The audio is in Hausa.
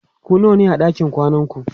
ku nawa ne a ɗakin kwanan ku?